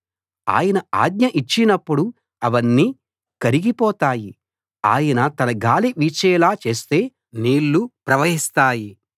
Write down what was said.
ఆయన ఆజ్ఞ ఇచ్చినప్పుడు అవన్నీ కరిగిపోతాయి ఆయన తన గాలి వీచేలా చేస్తే నీళ్లు ప్రవహిస్తాయి